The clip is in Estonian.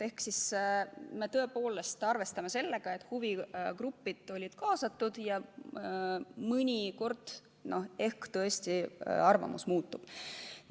Aga me tõepoolest saame arvestada sellega, et huvigrupid olid kaasatud ja mõnikord ehk tõesti arvamus muutub.